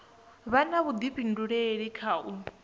vha na vhuḓifhinduleli kha u